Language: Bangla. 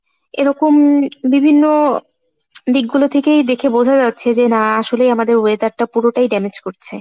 এরকম বিভিন্ন দিকগুলো থেকে দেখে বুঝা যাচ্ছে না আসলে আমাদের weather টা পুরোটাই damage করছে।